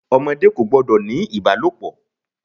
Ọmọdé kò gbọ́dọ̀ ní ìbálòpọ̀.